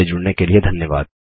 हमसे जुड़ने के लिए धन्यवाद